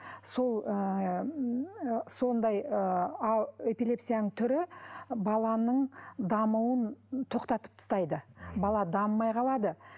сол ыыы ммм сондай ыыы эпилепсияның түрі баланың дамуын тоқтатып тастайды бала дамымай қалады